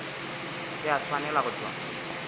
se a swanela go tšwa